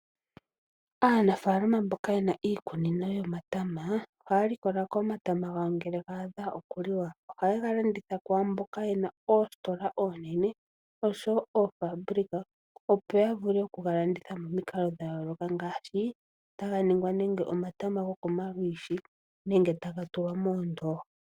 Aanafaalama mboka yena iikunino yomatama ohaya likola ko omatama gawo ngele ga adha okuliwa. Ohaye ga landitha kwaamboka yena oositola oonene oshowo oofaabulika opo ya vule okuga landitha momikalo dha yooloka ngaashi taga ningwa nenge omatama gokomalwiishi nenge taga tulwa moondooha.